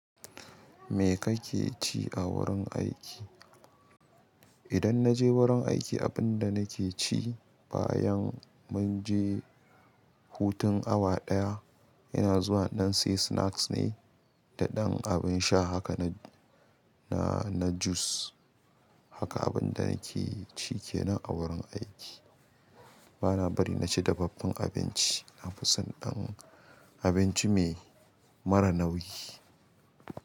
Me kakeci a wurin aiki? Idan naje wurin aiki, abinda nakeci bayan munje hutun awa ɗaya, yana zuwa, in dan sai snacks ne da ɗan abin sha haka na, na, na juice. Haka abin da nake ci kenan a wurin aiki. Bana bari naci dafaffen abinci nafison dan abince me mara nauyi.